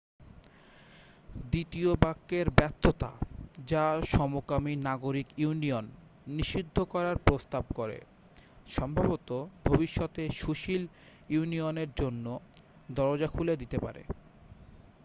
দ্বিতীয় বাক্যের ব্যর্থতা যা সমকামী নাগরিক ইউনিয়ন নিষিদ্ধ করার প্রস্তাব করে সম্ভবত ভবিষ্যতে সুশীল ইউনিয়নের জন্য দরজা খুলে দিতে পারে